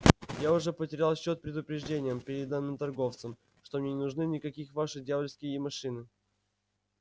я уже потерял счёт предупреждениям переданным торговцам что мне не нужны никаких ваши дьявольские машины